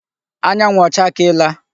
Anyanwụ ọ chakeela?